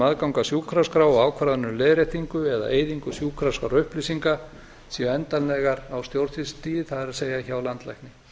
að sjúkraskrá og ákvarðanir um leiðréttingu eða eyðingu sjúkraskrárupplýsinga séu endanlega á stjórnsýslustigi það er hjá landlækni